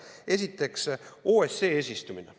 Esiteks, OSCE eesistumine.